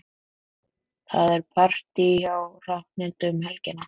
Það er partí hjá Hrafnhildi um helgina.